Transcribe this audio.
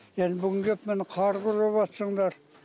енді бүгін кеп міне қар күреватсындар